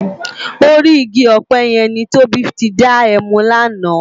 Órì igi òpè yèn ni Tobi ti dá èmú làná